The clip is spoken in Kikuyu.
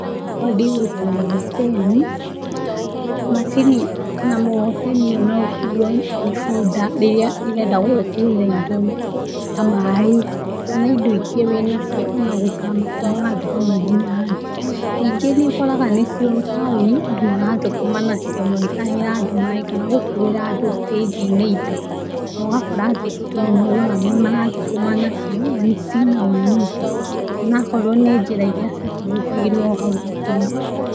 Niĩ hakwa ndĩũĩ na mkokoteni, macini kana mkokoteni, no ũkuo nĩ bunda rĩrĩa irenda gũgũkuĩra indo ta maĩ kana indo ĩngĩ wĩnacio, ona gũthama kuma handũ hamwe nginya hangĩ, ningĩ nĩ ũkaraga nĩ cio taoni andũ marathũkũma nacio, magĩtahĩra andũ maĩ kana gũkuĩra andũ stage ĩnĩ indo. No ũgakora atĩ andũ nĩ maugaga nĩ marathũkũma nacio, na cĩna umithio onaokorwo ni njĩra iria cia kĩhũthagirwo hau gatene.